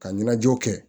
Ka ɲɛnajɛw kɛ